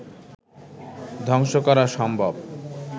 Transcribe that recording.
ধ্বংস করা সম্ভব